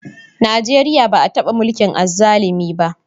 Najeriya ba a taba mulkin azzalumi ba.